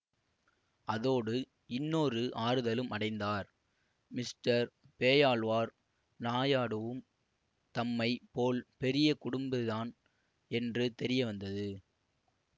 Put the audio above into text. அதோடு இன்னொரு ஆறுதலும் அடைந்தார் மிஸ்டர் பேயாழ்வார் நாயாடுவும் தம்மை போல் பெரிய குடும்பதான் என்று தெரிய வந்தது